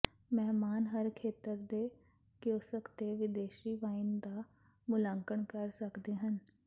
ਮਹਿਮਾਨ ਹਰ ਖੇਤਰ ਦੇ ਕਿਓਸਕ ਤੇ ਵਿਦੇਸ਼ੀ ਵਾਈਨ ਦਾ ਮੁਲਾਂਕਣ ਕਰ ਸਕਦੇ ਹਨ